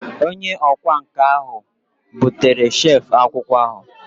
Onye ọkwá nkà bụtere shelf akwụkwọ ahụ